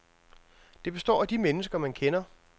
Det består af de mennesker, man kender.